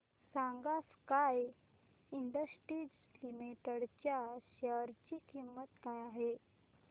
सांगा Sky Industries Limited च्या share ची किंमत काय आहे